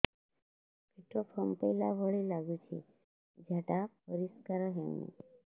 ପେଟ ଫମ୍ପେଇଲା ଭଳି ଲାଗୁଛି ଝାଡା ପରିସ୍କାର ହେଉନି